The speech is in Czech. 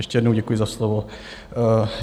Ještě jednou děkuji za slovo.